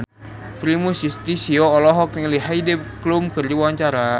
Primus Yustisio olohok ningali Heidi Klum keur diwawancara